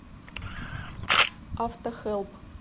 автохэлп